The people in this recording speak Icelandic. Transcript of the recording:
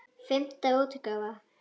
Fimmta útgáfa.